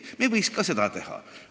Meie võiks ka nii teha.